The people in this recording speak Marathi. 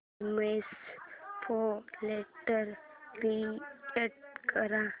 इमेज फोल्डर क्रिएट कर